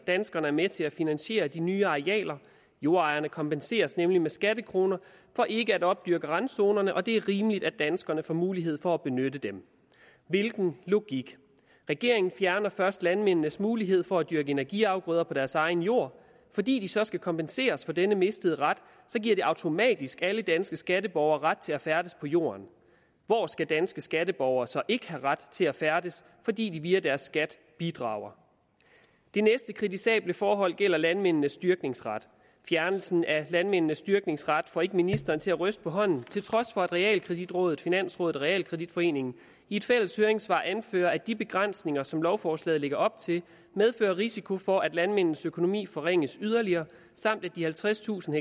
danskerne er med til at finansiere de nye arealer jordejerne kompenseres nemlig med skattekroner for ikke at opdyrke randzonerne og det er rimeligt at danskerne får mulighed for at benytte dem hvilken logik regeringen fjerner først landmændenes mulighed for at dyrke energiafgrøder på deres egen jord og fordi de så skal kompenseres for denne mistede ret giver det automatisk alle danske skatteborgere ret til at færdes på jorden hvor skal danske skatteborger så ikke have ret til at færdes fordi de via deres skat bidrager det næste kritisable forhold gælder landmændenes dyrkningsret fjernelsen af landmændenes dyrkningsret får ikke ministeren til at ryste på hånden til trods for at realkreditrådet finansrådet og realkreditforeningen i et fælles høringssvar anfører at de begrænsninger som lovforslaget lægger op til medfører risiko for at landmændenes økonomi forringes yderligere samt at de halvtredstusind